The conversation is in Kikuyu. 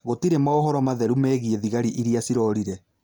Gũtirĩ maũhoro matheru megiĩ Thigari iria cirorire